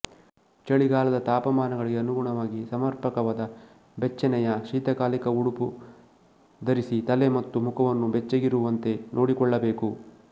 ಚಳಿಗಾಲದ ತಾಪಮಾನಗಳಿಗೆ ಅನುಗುಣವಾಗಿ ಸಮರ್ಪಕವಾದ ಬೆಚ್ಚನೆಯ ಶೀತಕಾಲಿಕ ಉಡುಪು ಧರಿಸಿ ತಲೆ ಮತ್ತು ಮುಖವನ್ನು ಬೆಚ್ಚಗಿರುವಂತೆ ನೋಡಿಕೊಳ್ಳಬೇಕು